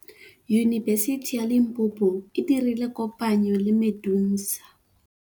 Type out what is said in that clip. Yunibesiti ya Limpopo e dirile kopanyô le MEDUNSA.